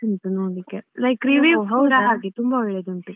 ಉಂಟು ನೋಡ್ಲಿಕ್ಕೆ. like review ಕೂಡ ಹಾಗೆ ತುಂಬಾ ಒಳ್ಳೆದ್ ಉಂಟು.